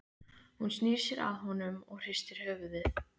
Hún snýr sér að honum og hristir höfuðið.